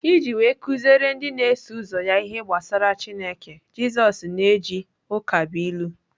Iji wee kuziere ndị na-eso ụzọ ya ihe gbasara Chineke, Jisoz na-eji ụkabụilu.